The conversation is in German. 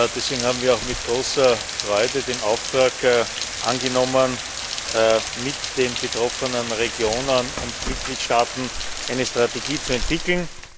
Deswegen haben wir auch mit großer Freude den Auftrag angenommen, mit den betroffenen Regionen und Mitgliedstaaten eine Strategie zu entwickeln.